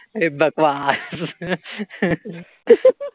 ए बकवास